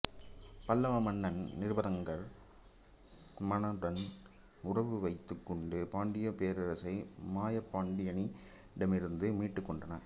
பல்லவ மன்னன் நிருபதுங்கவர்மனுடன் உறவு வைத்துக் கொண்டு பாண்டியப் பேரரசை மாயப்பாண்டியனிடமிருந்து மீட்டுக் கொண்டான்